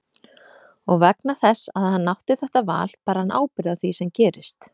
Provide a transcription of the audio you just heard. Og vegna þess að hann átti þetta val ber hann ábyrgð á því sem gerist.